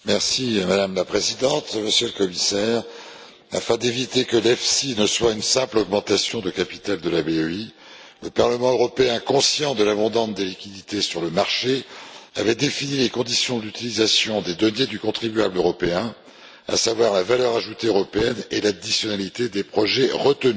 Madame la Présidente, Monsieur le Commissaire, afin d'éviter que l'EFSI ne soit une simple augmentation de capital de la BEI, le Parlement européen, conscient de l'abondance des liquidités sur le marché, avait défini les conditions d'utilisation des deniers du contribuable européen, à savoir la valeur ajoutée européenne et l'additionnalité des projets retenus.